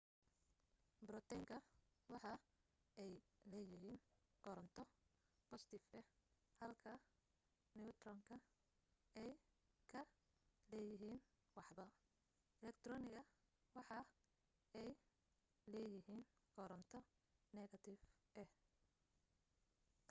borotonska waxa ay leeyihiin koronto boostif ah halka niyutroniska ay ka leeyihin waxba elektroniska waxa ay leeyihiin koronto negatif ah